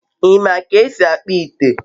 i ma ka esi akpu ite?